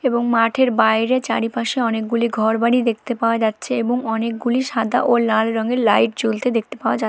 এবং মাঠের বাইরে চারিপাশে অনেকগুলি ঘরবাড়ি দেখতে পাওয়া যাচ্ছে এবং অনেকগুলি সাদা ও লাল রঙের লাইট জ্বলতে দেখতে পাওয়া যা--